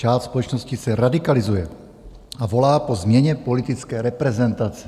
Část společnosti se radikalizuje a volá po změně politické reprezentace.